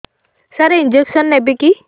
ସାର injection ନେବିକି